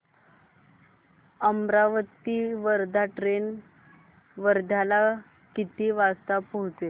Amravati Wardha train वर्ध्याला किती वाजता पोहचेल